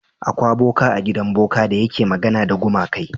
Akwa boka a gidan boka da yake magana da gumakai.